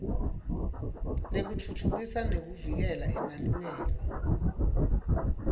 lekutfutfukisa nekuvikela emalungelo